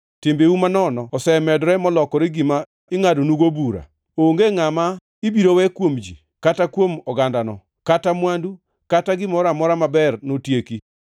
Timbeu manono osemedore, molokore gima ingʼadonugo bura. Onge ngʼama ibiro we kuom ji, kata kuom ogandano, kata mwandu, kata gimoro amora maber notieki.